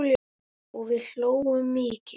Og við hlógum mikið.